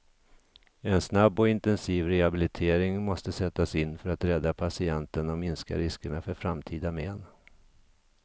En snabb och intensiv rehabilitering måste sättas in för att rädda patienten och minska riskerna för framtida men.